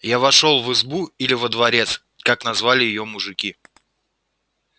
я вошёл в избу или во дворец как назвали её мужики